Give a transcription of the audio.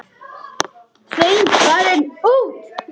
Sveinn farinn út?